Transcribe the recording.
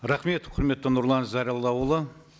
рахмет құрметті нұрлан зайроллаұлы